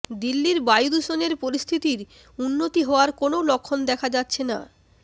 দিল্লির বায়ু দূষণের পরিস্থিতির উন্নতি হওয়ার কোনও লক্ষণ দেখা যাচ্ছে না